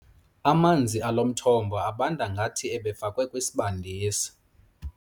Amanzi alo mthombo abanda ngathi ebefakwe kwisibandisi.